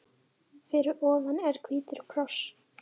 Fyrir ofan er hvítur kross.